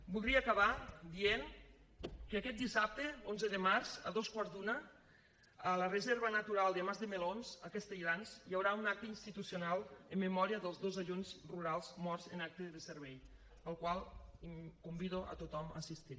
voldria acabar dient que aquest dissabte onze de març a dos quarts d’una a la reserva natural de mas de melons a castelldans hi haurà un acte institucional en memòria dels dos agents rurals morts en acte de servei al qual convido a tothom a assistir